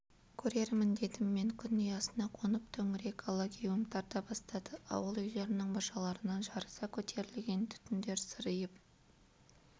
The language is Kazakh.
көрермін дедім мен күн ұясына қонып төңірек алагеуім тарта бастады ауыл үйлерінің мұржаларынан жарыса көтерілген түтіндер сыриып